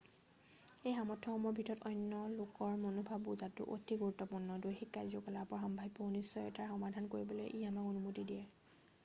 এই সামৰ্থ্যসমূহৰ ভিতৰত অন্য লোকৰ মনোভাৱ বুজাটো অতি গুৰুত্বপূৰ্ণ দৈহিক কাৰ্য-কলাপৰ সাম্ভাব্য অনিশ্চতাৰ সমাধান কৰিবলৈ ই আমাক অনুমতি দিয়ে